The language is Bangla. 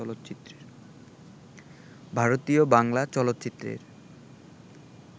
ভারতীয় বাংলা চলচ্চিত্রের